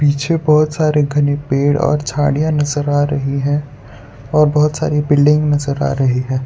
पीछे बहोत सारे घने पेड़ और झाड़ियां नजर आ रही है और बहोत सारी बिल्डिंग नजर आ रही है।